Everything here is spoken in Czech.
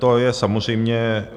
To je samozřejmě...